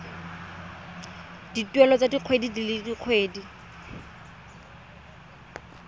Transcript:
dituelo tsa kgwedi le kgwedi